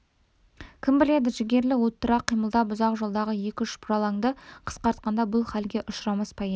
кім біледі жігерлі уыттырақ қимылдап ұзақ жолдағы екі-үш бұралаңды қысқартқанда бұл хәлге ұшырамас па еді